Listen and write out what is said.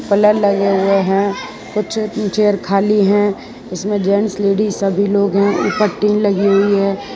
Colour लगे हुए हैं कुछ चेयर खाली हैं इसमें जेंट्स लेडीज सभी लोग हैं ऊपर टिन लगी हुई है।